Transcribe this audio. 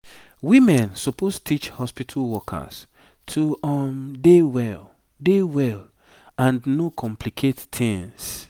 women suppose teach hospitu workers to um dey well dey well and no complicate tings